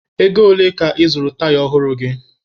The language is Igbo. Ego ole ka ị zụrụ taya ọhụrụ gị?